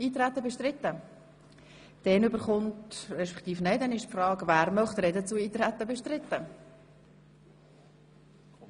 Möchte jemand zur Frage sprechen, ob das Eintreten bestritten ist?